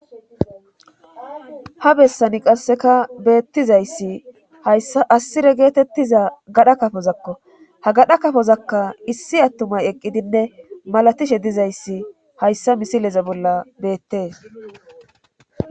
Ha bessani qasseka beettizayssi hayssa assire geetettiza gadha kafozakko ha gadha kafozakka issi attumay eqqidinne malatishe dizayssi hayssa misileze bolla beettee